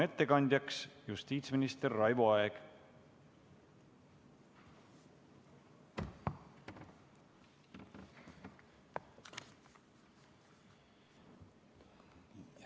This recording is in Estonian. Ettekandja on justiitsminister Raivo Aeg.